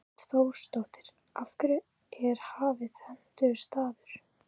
Hrund Þórsdóttir: Af hverju er Hafið hentugur staður?